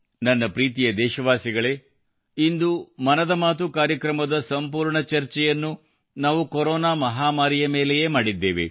ನನ್ನ ಪ್ರೀತಿಯ ದೇಶವಾಸಿಗಳೇ ಇಂದು ಮನದ ಮಾತು ಕಾರ್ಯಕ್ರಮದ ಸಂಪೂರ್ಣ ಚರ್ಚೆಯನ್ನು ನಾವು ಕೊರೋನಾ ಮಹಾಮಾರಿ ಮೇಲೆಯೇ ಮಾಡಿದ್ದೇವೆ